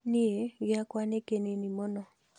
Niĩ gĩakwa nĩ kĩnini mũno